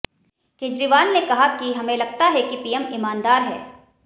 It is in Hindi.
केजरीवाल ने कहा कि हमें लगता है कि पीएम ईमानदार हैं